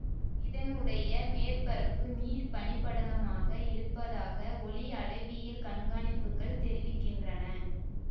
இதனுடைய மேற்பரப்பு நீர் பனிபடலமாக இருப்பதாக ஒளிஅளவியல் கண்காணிப்புகள் தெரிவிக்கின்றன